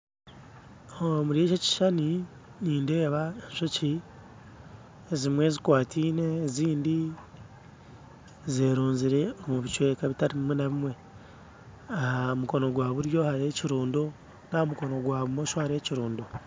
Omuri eki ekishushani nindeeba enjoki ezimwe zikwatiine ezindi zerunzire omu bicweka bitari bimwe na bimwe aha mukono gwaburyo hariho ekirundo naha mukono gwabumosho hariho ekirundo